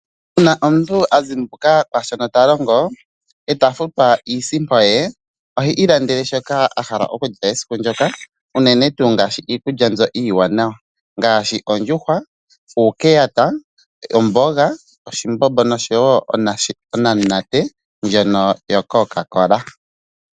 Uuna omuntu azimbuka mwaashoka a li ta longo, ee ta futwa iisimpo ye ohe ilandele shoka a hala okulya esiku ndyoka, unene tuu ngaashi iikulya iiwanawa, ngaashi : ondjuhwa, uukeyata, omboga, oshimbombo, nosho woo onamunate yo Coca Cola.